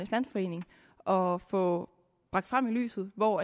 landsforening og få bragt frem i lyset hvor